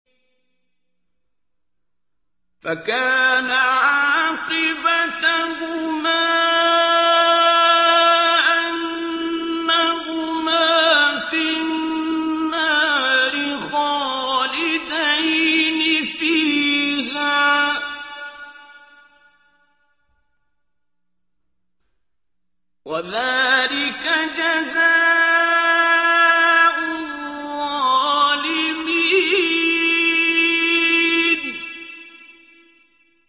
فَكَانَ عَاقِبَتَهُمَا أَنَّهُمَا فِي النَّارِ خَالِدَيْنِ فِيهَا ۚ وَذَٰلِكَ جَزَاءُ الظَّالِمِينَ